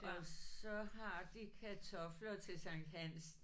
Og så har de kartofler til Sankt Hans